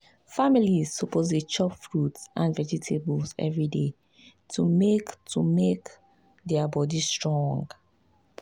families suppose dey chop fruit and vegetables every day to make to make their body strong.